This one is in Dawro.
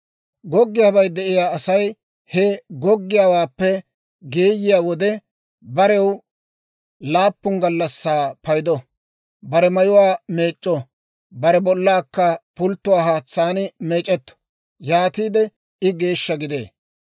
« ‹Goggiyaabay de'iyaa Asay he goggiyaawaappe geeyiyaa wode, barew laappun gallassaa paydo. Bare mayuwaa meec'c'o; bare bollaaka pulttuwaa haatsaan meec'etto; yaatiide I geeshsha gidee.